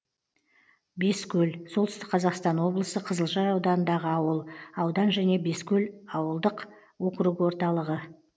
бескөл солтүстік қазақстан облысы қызылжар ауданындағы ауыл аудан және бескөл ауылдық округі орталығы